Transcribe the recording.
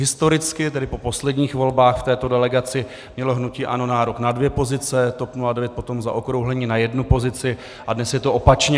Historicky, tedy po posledních volbách, v této delegaci mělo hnutí ANO nárok na dvě pozice, TOP 09 potom zaokrouhleně na jednu pozici a dnes je to opačně.